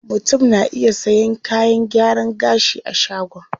Mutum na iya sayan kayan gyaran gashi a shagon.